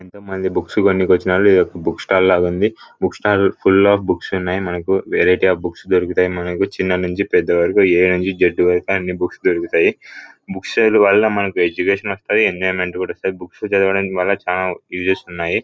Books కొనడానికి వచ్చిన ఇది ఒక బుక్ స్టాల్ ఉంది .book stall full of books ఉన్నాయ్ మనకు వెరైటీ అఫ్ బుక్స్ దొరుకుతాయి మనకి చిన్న నుచి పెద్ద వరకు దొరుకుతాయి బుక్స్ స్టేషనరీ స్టేషనరీ వాళ్ళ మనకి ఎడ్యుకేషన్ వస్తుంది ఎంజొయ్మెంత్ కూడా వస్తుంది బుక్సా చదవడానికి చాల ఉసెస్ కూడా ఉన్నాయి.